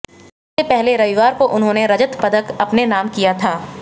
इससे पहले रविवार को उन्होंने रजत पदक अपने नाम किया था